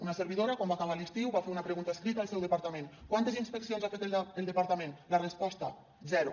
una servidora quan va acabar l’estiu va fer una pregunta escrita al seu departament quantes inspeccions ha fet el departament la resposta zero